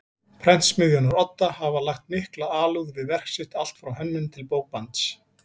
Prentsmiðjunnar Odda hafa lagt mikla alúð við verk sitt allt frá hönnun til bókbands.